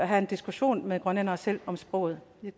have en diskussion med grønlændere selv om sproget